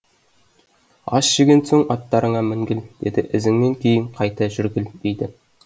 ас жеген соң аттарыңа мінгіл дейді ізіңмен кейін қайта жүргіл дейді